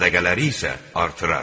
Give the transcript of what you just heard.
Sədəqələri isə artırar.